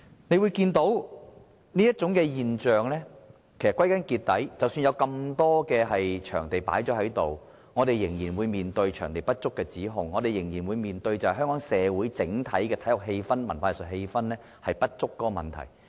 我們看到的現象是，即使有很多場地，我們仍然會面對場地不足的指控，仍然會面對香港社會整體體育氣氛、文化藝術氣氛不足的問題。